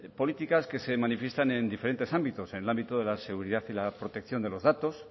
políticas que se manifiestan en diferentes ámbitos en el ámbito de la seguridad y la protección de los datos